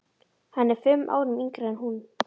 Hann er fimm árum yngri en hún.